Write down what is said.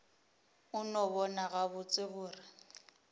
a no bona gabotse gore